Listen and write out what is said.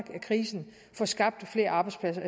af krisen og få skabt flere arbejdspladser